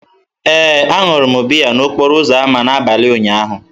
Ee, aṅụrụ m biya n'okporo ámá m n'abalị ụnyaahụ.